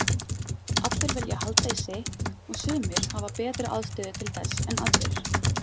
Allir vilja halda í sitt og sumir hafa betri aðstöðu til þess en aðrir.